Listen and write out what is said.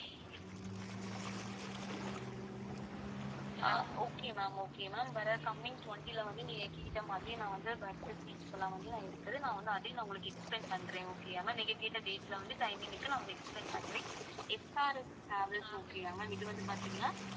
ஆஹ் okay ma'am okay ma'am வர coming twenty ல வந்து நீங்க கேட்ட மாதிரி நான் வந்து bus seats இருக்குது நான் வந்து அதையும் நான் உங்களுக்கு explain பண்றேன் okay யா ma'am நீங்க கேட்ட date ல வந்து timing க்கு நான் explain பண்றேன் SRS travelsokay யா ma'am இதுல வந்து பாத்தீங்கன்னா